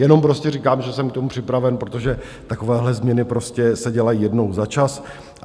Jenom prostě říkám, že jsem k tomu připraven, protože takovéhle změny prostě se dělají jednou za čas.